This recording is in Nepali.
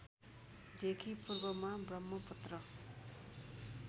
देखि पूर्वमा ब्रम्हपुत्र